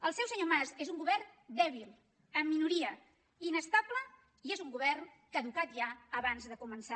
el seu senyor mas és un govern dèbil en minoria inestable i és un govern caducat ja abans de començar